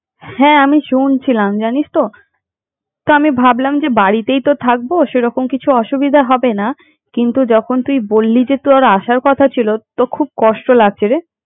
হ্যাঁ আমি শুনছিলাম জানিস তো তো আমি ভাবলাম বাড়িতেই তো থাকবো তেমন কিছু হবে না কিন্তু যখন তুই বললি যে তোর আশার কথা ছিল তো খুব কষ্ট লাগছে রে।